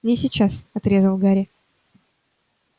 не сейчас отрезал гарри